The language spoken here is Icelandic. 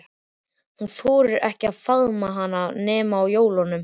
Hún þorir ekki að faðma hann nema á jólum.